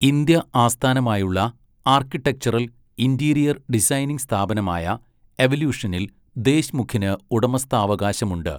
India ആസ്ഥാനമായുള്ള architectural, interior designing സ്ഥാപനമായ എവല്യൂഷനിൽ ദേശ്മുഖിന് ഉടമസ്ഥാവകാശമുണ്ട്.